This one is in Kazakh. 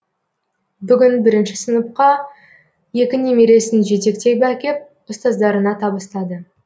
бүгін бірінші сыныпқа екі немересін жетектеп әкеп ұстаздарына табыстады